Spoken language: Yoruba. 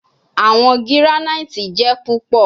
Awọn giranaiti jẹ pupọ